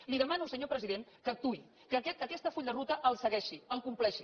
li demano senyor president que actuï que aquest full de ruta el segueixi el compleixi